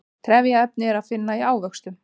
trefjaefni er að finna í ávöxtum